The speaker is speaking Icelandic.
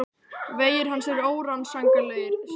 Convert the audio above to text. Vegir hans eru órannsakanlegir, segja karlarnir.